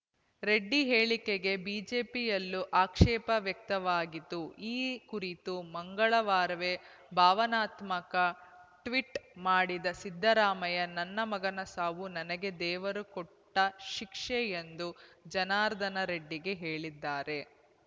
ರೆಡ್ಡಿ ಹೇಳಿಕೆಗೆ ಬಿಜೆಪಿಯಲ್ಲೂ ಆಕ್ಷೇಪ ವ್ಯಕ್ತವಾಗಿತ್ತು ಈ ಕುರಿತು ಮಂಗಳವಾರವೇ ಭಾವನಾತ್ಮಕ ಟ್ವೀಟ್‌ ಮಾಡಿದ್ದ ಸಿದ್ದರಾಮಯ್ಯ ನನ್ನ ಮಗನ ಸಾವು ನನಗೆ ದೇವರು ಕೊಟ್ಟಶಿಕ್ಷೆ ಎಂದು ಜನಾರ್ದನರೆಡ್ಡಿಗೆ ಹೇಳಿದ್ದಾರೆ